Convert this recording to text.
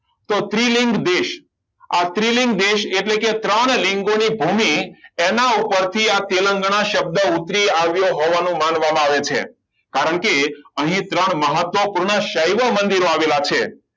તો ત્રિલિંગ આ ત્રિલિંગ દેશ એટલે કે ત્રણ લીંબુની ભૂમિ એના ઉપરથી આ તેલંગાના શબ્દ ઉતરી આવ્યો હોવાનો માનવામાં આવે છે કારણ કે અહીં ત્રણ મહત્વપૂર્ણ સહાય મંદિરો આવેલા છે